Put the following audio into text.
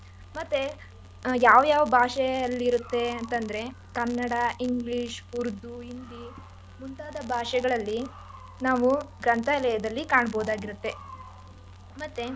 ಮತ್ತೆ ಯಾವ್ಯಾವ್ ಭಾಷೆಯಲ್ಲಿರುತ್ತೆ ಅಂತಂದ್ರೆ ಕನ್ನಡ English ಹಿಂದಿ, ಉರ್ದು ಮುಂತಾದ ಭಾಷೆಗಳಲ್ಲಿ ನಾವು ಗ್ರಂಥಾಲಯದಲ್ಲಿ ಕಾಣಬಹುದಾಗುತ್ತೆ ಮತ್ತೆ.